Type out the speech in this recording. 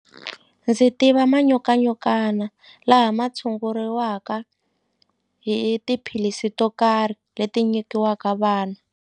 Ndzi tiva manyokanyokana laha ma tshunguriwaka hi tiphilisi to karhi leti nyikiwaka vana.